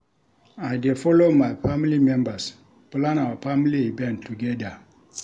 I dey folo my family members plan our family event togeda.